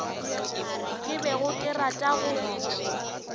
ke bego ke rata go